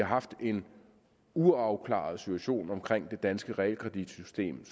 haft en uafklaret situation omkring det danske realkreditsystem